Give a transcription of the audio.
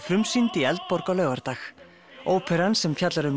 frumsýnd í Eldborg á laugardag óperan sem fjallar um